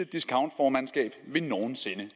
discountformandskab vi nogen sinde